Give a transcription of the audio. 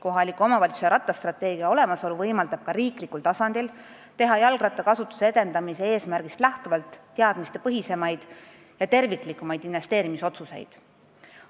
Kohalike omavalitsuste rattastrateegia olemasolu võimaldab ka riiklikul tasandil teha jalgrattakasutuse edendamise eesmärgist lähtuvalt teadmistepõhisemaid ja terviklikumaid investeerimisotsuseid.